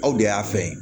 Aw de y'a fɛn